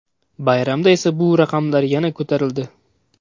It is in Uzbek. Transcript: Bayramda esa bu raqamlar yana ko‘tarildi.